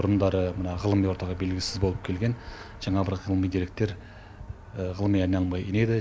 бұрындары мына ғылыми ортаға белгісіз болып келген жаңа бір ғылыми деректер ғылыми айналымға енеді